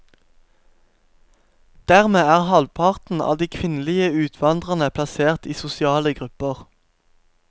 Dermed er halvparten av de kvinnelige utvandrerne plassert i sosiale grupper.